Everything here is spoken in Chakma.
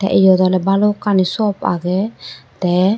eyot oley balukkani shop agey tey.